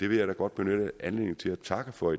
vil da godt benytte anledningen til at takke for